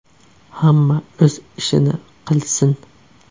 Hamma o‘z ishini qilsin.